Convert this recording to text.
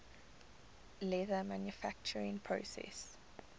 leather manufacturing process